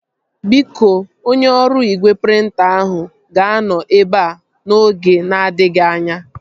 Biko, onye ọrụ igwe prịnta ahụ ga-anọ ebea n'oge na-adịghị anya